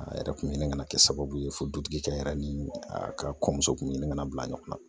A yɛrɛ kun ɲinana kɛ sababu ye fo dutigi n yɛrɛ ni ka kɔɲɔmuso kun ɲinigali